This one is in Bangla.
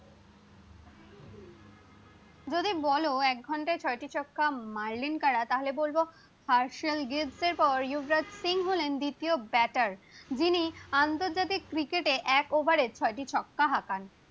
যদি বলো এক ঘন্টায় ছয়টি ছক্কা মারলেন কারা তাহলে বলবো মার্সেল গিফ এরপর ইউবরাজ সিং হলো দ্বিতীয় ব্যাটার যিনি আন্তর্জাতিক ক্রিকেটে এক ওভারে ছয় ছক্কা মারেন